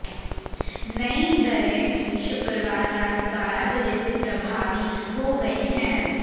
नई दरें शुक्रवार रात बारह बजे से प्रभावी हो गई हैं